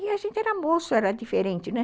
E a gente era moço, era diferente, né?